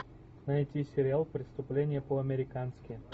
найти сериал преступление по американски